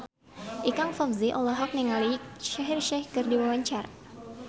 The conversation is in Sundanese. Ikang Fawzi olohok ningali Shaheer Sheikh keur diwawancara